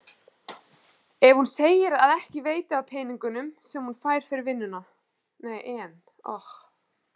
En hún segir að ekki veiti af peningunum sem hún fær fyrir vinnuna.